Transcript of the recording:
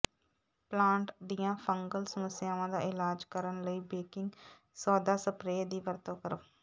plant ਦੀਆਂ fungal ਸਮੱਸਿਆਵਾਂ ਦਾ ਇਲਾਜ ਕਰਨ ਲਈ ਬੇਕਿੰਗ ਸੋਦਾ ਸਪਰੇਅ ਦੀ ਵਰਤੋਂ ਕਰੋ